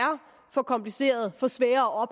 for komplicerede for svære